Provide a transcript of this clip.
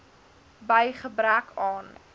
by gebrek aan